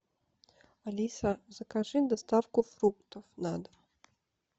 алиса закажи доставку фруктов на дом